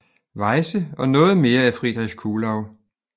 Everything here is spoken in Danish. Weyse og noget mere af Friedrich Kuhlau